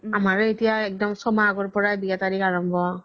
আমাৰ হে এতিয়া এক্দম চ্মাহ আগৰ পৰাই বিয়া তাৰিখ আৰাম্ৱ্